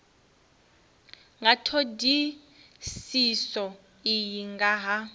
nga thodisiso iyi nga ha